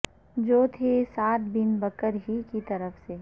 جو تھے Saad bin Bakr ہی کی طرف سے